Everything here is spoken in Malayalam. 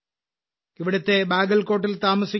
ഇവിടുത്തെ ബാഗൽകോട്ടിൽ താമസിക്കുന്ന ശ്രീ